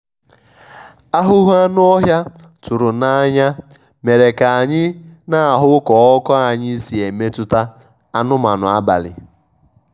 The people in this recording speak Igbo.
àhụ́hụ́ anụ́ ọ́hị́à tụ́rụ̀ n'anya mèrè kà anyị́ nà-àhụ́ kà ọ́kụ́ anyị́ sì èmètụ́tà anụ́manụ́ àbàlị́.